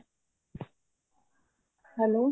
hello